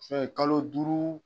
Fɛn kalo duuru.